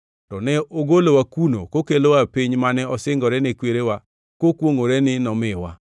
To ne ogolowa kuno kokelowa e piny mane osingore ne kwerewa kokwongʼore ni nomiwa.